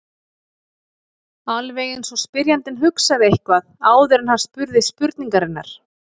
Alveg eins og spyrjandinn hugsaði eitthvað áður en hann spurði spurningarinnar.